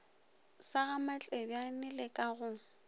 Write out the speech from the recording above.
sa gamatlebjane le ka go